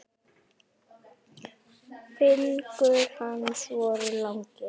Fingur hans voru langir.